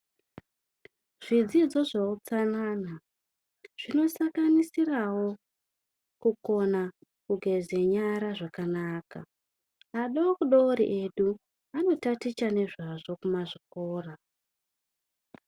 Zvidzidzo zveutsanana zvinosanganisirawo kukona kugeze nyara zvakanaka adodori edu anotaticha nezvazvo kumazvikora.